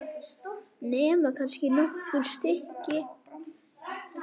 Nema kannski nokkur stykki.